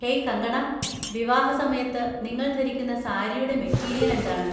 Hey Kangana, വിവാഹസമയത്ത് നിങ്ങൾ ധരിക്കുന്ന സാരിയുടെ മെറ്റീരിയൽ എന്താണ്?